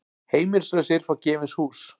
Heimilislausir fá gefins hús